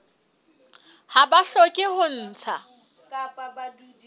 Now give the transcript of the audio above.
ha ba hloke ho ntsha